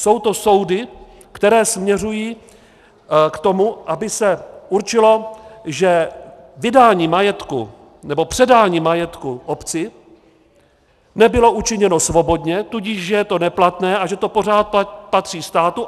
Jsou to soudy, které směřují k tomu, aby se určilo, že vydání majetku nebo předání majetku obci nebylo učiněno svobodně, tudíž že je to neplatné a že to pořád patří státu.